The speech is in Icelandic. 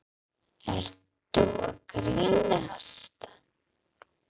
Ertu að grínast?!